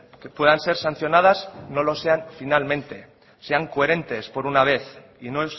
que puedan ser sancionadas no lo sean finalmente sean coherentes por una vez y no